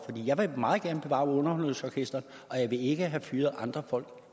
jeg vil meget gerne bevare underholdningsorkestret og jeg vil ikke have fyret andre folk